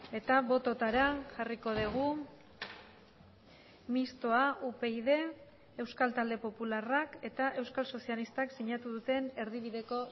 eta bototara jarriko dugu mistoa upyd euskal talde popularrak eta euskal sozialistak sinatu duten erdibideko